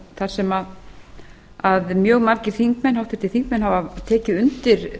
þar sem mjög margir háttvirtir þingmenn hafa tekið undir